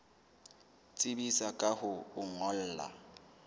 tsebisa ka ho o ngolla